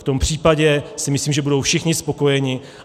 V tom případě si myslím, že budou všichni spokojeni.